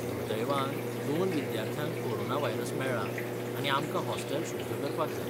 दुर्दैवान दोन विद्यार्थ्यांक कोरोना व्हायरस मेळ्ळा, आनी आमकां हॉस्टेल शुद्ध करपाक जाय.